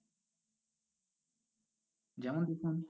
যেমন দেখুন